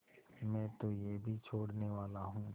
मैं तो यह भी छोड़नेवाला हूँ